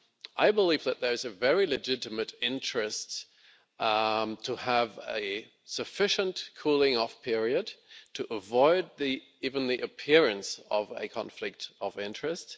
I believe that there is a very legitimate interest to have a sufficient cooling-off period to avoid even the appearance of a conflict of interest.